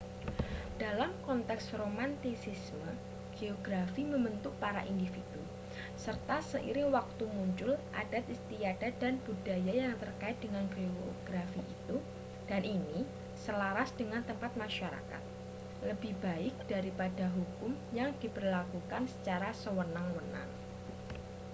dalam konteks romantisisme geografi membentuk para individu serta seiring waktu muncul adat istiadat dan budaya yang terkait dengan geografi itu dan ini selaras dengan tempat masyarakat lebih baik daripada hukum yang diberlakukan secara sewenang-wenang